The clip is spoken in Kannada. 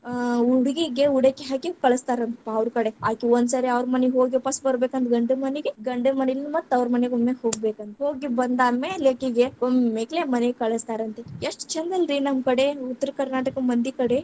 ಆ ಉಡಗೀಗೆ ಉಡಕ್ಕಿ ಹಾಕಿ, ಕಳಸ್ತಾರಂತಪಾ ಅವ್ರಕಡೆ ಅಕಿ ಒಂದಸಾರಿ ಅವ್ರ ಮನೀಗ್‌ ಹೋಗಿ ವಾಪಸ್ಸ ಬರಬೇಕಂದ್ರ ಗಂಡನ ಮನೀಗೆ, ಗಂಡನ ಮನಿಯಿಂದ ಮತ್ತ ತವ್ರಮನೀಗ ಒಮ್ಮೆ ಹೋಗಬೇಕಂತ ಹೋಗಿ ಬಂದಾದ್ಮೇಲೆ ಅಕಿಗೆ ಒಮ್ಮೆಕ್ಲೆ ಮನೀಗ್‌ ಕಳಸ್ತಾರಂತೆ, ಎಷ್ಟ ಛಂದಲ್ರೀ ನಮ್ಮಕಡೆ, ಉತ್ತರ ಕರ್ನಾಟಕ ಮಂದಿಕಡೆ.